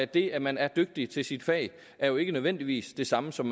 det at man er dygtig til sit fag er jo ikke nødvendigvis det samme som